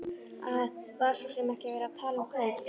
Það var svo sem ekki verið að tala um kaup.